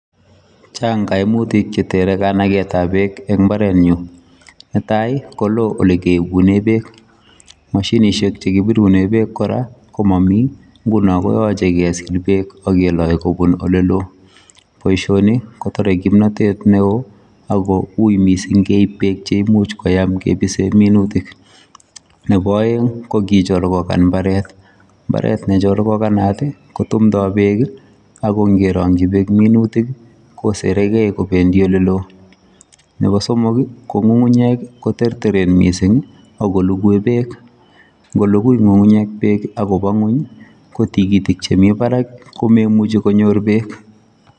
Chang koimutik chetere kanaketab beek en imbarenyun, netai koloo elekiibunen beek moshinishek chekibirunen beek kora ko momii, ng'unon koyoche kesil Beek ak keloe kobun oleloo, boishoni kotore kimnotet neoo ak ko uuii mising keib beek cheimuch koyam kibisen minutik nebo oeng ko kicholkokan imbaret, imbaret ne cholkokanat kotumndo Beek ak ko ng'e rongyi beek minutik kosereke kobendi oleloo, nebo somok ko ng'ung'unyek koterteren mising ak ko lukui beek, ng'olukui ng'ung'unyek beek akobaa ng'weny ko tikitik chemii barak ko moimuchi konyor beek.